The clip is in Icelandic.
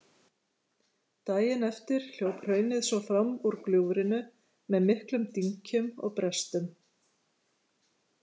Daginn eftir hljóp hraunið svo fram úr gljúfrinu með miklum dynkjum og brestum.